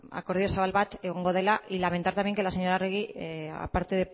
ba akordio zabal bat egongo dela y lamentar también que la señora arregi a parte